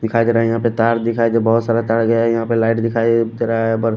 दिखाई दे रहा है यहाँ पे तार दिखाई दे बहुत सारा तार गया यहाँ पे लाइट दिखाई दे रहा है और---